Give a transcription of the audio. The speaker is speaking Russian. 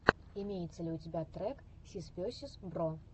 имеется ли у тебя трек сис весиз бро